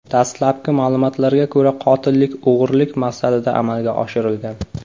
Dastlabki ma’lumotlarga ko‘ra, qotillik o‘g‘rilik maqsadida amalga oshirilgan.